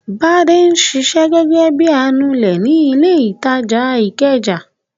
Bọ̀dé ń ṣiṣẹ́ gẹ́gẹ́ bí i anulẹ̀ ní ilé-ìtajà Ìkẹjà.